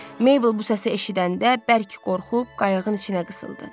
Meybl bu səsi eşidəndə bərk qorxub qayığın içinə qısıldı.